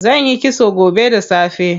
Zanyi kitso gobe da safe.